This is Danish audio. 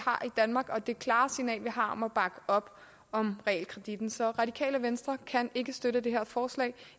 danmark og det klare signal vi har om at bakke op om realkreditten så radikale venstre kan ikke støtte det her forslag